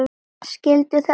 Skilduð þið alveg sáttir?